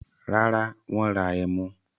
Rárá, wọ́n ra ẹmu.